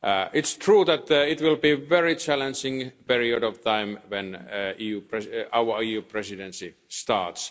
It's true that it will be a very challenging period of time when our EU Presidency starts.